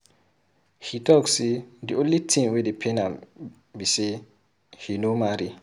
He talk say the only thing wey dey pain am be say he no marry.